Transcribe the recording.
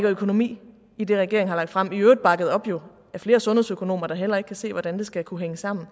økonomi i det regeringen har lagt frem i øvrigt bakket op af flere sundhedsøkonomer der heller ikke kan se hvordan det skal kunne hænge sammen